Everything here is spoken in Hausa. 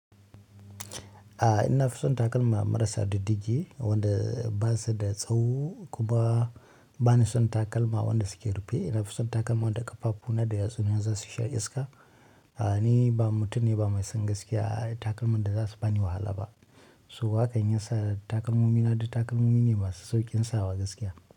A ina fi son takalma marasa diddigi, wanda ba su da tsawo kuma ba ni son takalma wanda suke rufe. Ina fi son takalma wanda ƙaffafu na da yatsuna na za su sha iska. Ni ba mutum ne ba mai son gaskiya takalman da za su bani wahala ba. So hakan ya sa takalmomi na, du takalmomi ne masu sauƙin sawa gaskiya.